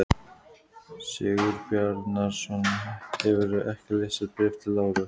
Sigurbjarnarson, hefurðu ekki lesið Bréf til Láru?